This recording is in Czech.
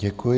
Děkuji.